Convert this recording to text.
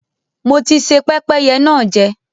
Mo ti se pẹ́pẹ́yẹ náà jẹ.